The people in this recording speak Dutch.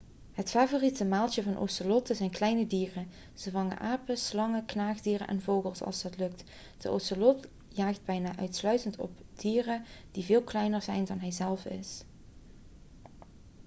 het favoriete maaltje van ocelotten zijn kleine dieren ze vangen apen slangen knaagdieren en vogels als dat lukt de ocelot jaagt bijna uitsluitend op dieren die veel kleiner zijn dan hij zelf is